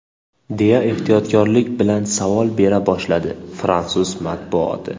deya ehtiyotkorlik bilan savol bera boshladi fransuz matbuoti.